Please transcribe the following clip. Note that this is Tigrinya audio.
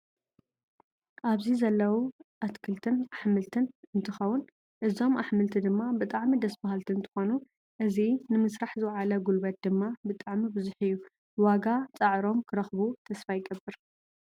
ኣብዚ ዘለው ኣኽትልት ኣሕምልት እንትከውን ፤ እዞም ኣሕምልቲ ድማ ብጣዕሚ ደስ በሃልቲ እንትኮኑ እዚ ንምስራሕ ዝወዓለ ጉልበት ድማ ብጣዕሚ ብዙሕ እዩ። ዋጋ ፀዕሮም ክረክቡ ተስፋ ይገብር።